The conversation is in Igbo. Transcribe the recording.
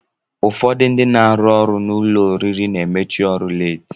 Ụfọdụ ndị na-arụ n'ụlọ oriri na-emechi ọrụ leeti